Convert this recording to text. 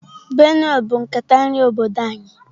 Benue bụ nkata nri obodo anyị.